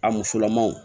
A musolamanw